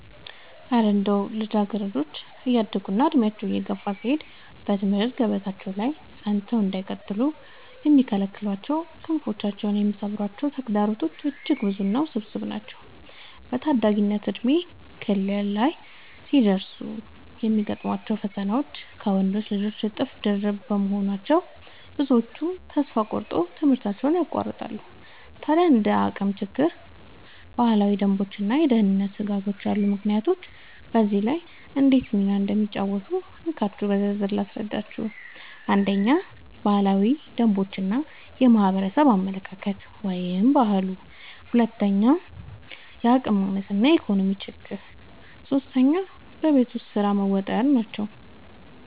እረ እንደው ልጃገረዶች እያደጉና ዕድሜያቸው እየገፋ ሲሄድ በትምህርት ገበታቸው ላይ ጸንተው እንዳይቀጥሉ የሚከለክሏቸውና ክንፋቸውን የሚሰብሯቸው ተግዳሮቶችማ እጅግ ብዙና ውስብስብ ናቸው! በታዳጊነት የእድሜ ክልል ላይ ሲደርሱ የሚገጥሟቸው ፈተናዎች ከወንዶች ልጆች እጥፍ ድርብ በመሆናቸው፣ ብዙዎቹ ተስፋ ቆርጠው ትምህርታቸውን ያቋርጣሉ። ታዲያ እንደ የአቅም ችግር፣ ባህላዊ ደንቦችና የደህንነት ስጋቶች ያሉ ምክንያቶች በዚህ ላይ እንዴት ሚና እንደሚጫወቱ እንካችሁ በዝርዝር ልንገራችሁ፦ 1. ባህላዊ ደንቦች እና የማህበረሰብ አመለካከት (ባህሉ) 2. የአቅም ማነስ እና የኢኮኖሚ ችግር 3. በቤት ውስጥ ስራ መወጠር መወጠር